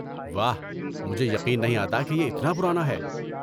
واہ، مجھے یقین نہیں آتا کہ یہ اتنا پرانا ہے۔